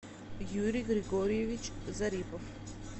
юрий григорьевич зарипов